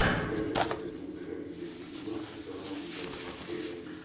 покажи варианты кинематографических фильмов с актером йеном маккеленом